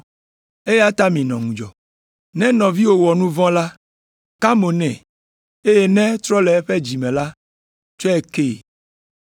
Eya ta minɔ ŋudzɔ. “Ne nɔviwò wɔ nu vɔ̃ la, ka mo nɛ, eye ne etrɔ le eƒe dzi me la, tsɔe kee.